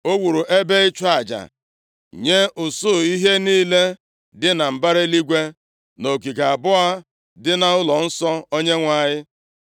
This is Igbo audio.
O wuru ebe ịchụ aja nye usuu ihe niile dị na mbara eluigwe nʼogige abụọ dị nʼụlọnsọ Onyenwe anyị.